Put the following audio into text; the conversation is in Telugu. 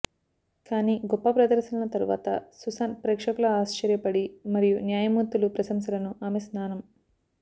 కానీ గొప్ప ప్రదర్శనల తర్వాత సుసాన్ ప్రేక్షకుల ఆశ్చర్యపడి మరియు న్యాయమూర్తులు ప్రశంసలను ఆమె స్నానం